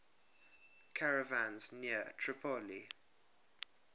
caravans near tripoli